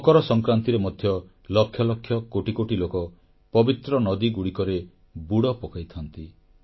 ମକର ସଂକ୍ରାନ୍ତିରେ ମଧ୍ୟ ଲକ୍ଷ ଲକ୍ଷ କୋଟି କୋଟି ଲୋକ ପବିତ୍ର ନଦୀଗୁଡ଼ିକରେ ବୁଡ଼ ପକାଇଥାନ୍ତି